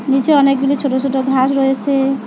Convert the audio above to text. নীচে অনেকগুলি ছোট ছোট ঘাস রয়েসে।